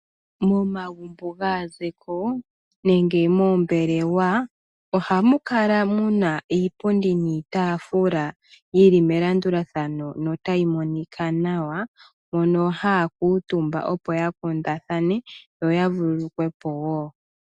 Momagumbo gaa zeko nenge moombelewa, ohamu kala muna iipundi niitafula yili melandulathano notayi monika nawa, hono haya kuutumba, opo ya kundathane, yo ya vululukwe po wo.